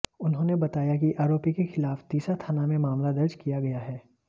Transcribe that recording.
उन्होंने बताया कि आरोपी के खिलाफ तीसा थाना में मामला दर्ज किया गया है